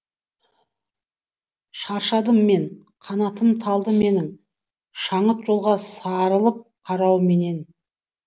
шаршадым мен қанатым талды менің шаңыт жолға сарылып қарауменен